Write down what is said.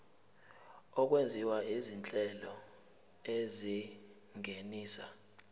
okwenziwa izinhlelo ezingenisa